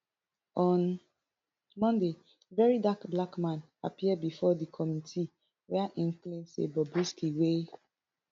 on monday verydarkblackman appear bifor di committee wia im claim say bobrisky wey